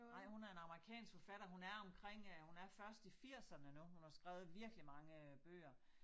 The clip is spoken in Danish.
Nej hun er en amerikansk forfatter. Hun er omkring øh hun er først i firserne nu hun har skrevet virkelig mange bøger